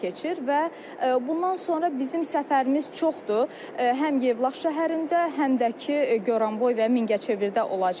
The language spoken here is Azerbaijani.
Və bundan sonra bizim səfərlərimiz çoxdur, həm Yevlax şəhərində, həm də ki Goranboy və Mingəçevirdə olacağıq.